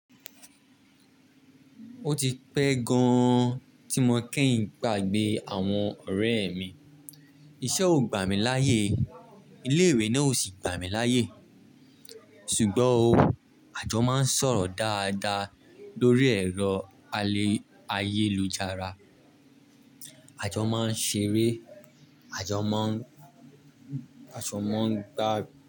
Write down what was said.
Ó ti pẹ́ gan tí mo kì í gbàgbé àwọn ọ̀rẹ́ mi. Iṣẹ́ ò gbà mí láyé, ilé ìwé náà ò sì gbà mí láyé. Ṣùgbọ́n ò àjọ máa ń sọ̀rọ̀ dáadáa lórí ẹ̀rọ ayélujára. Àjọ máa ń ṣeré, àjọ má ń, àjọ má ń gbá.